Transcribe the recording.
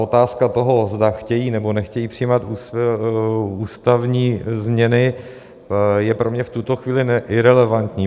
Otázka toho, zda chtějí, nebo nechtějí přijímat ústavní změny, je pro mě v tuto chvíli irelevantní.